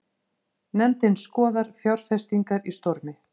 Nefndin skoðar fjárfestingar í Stormi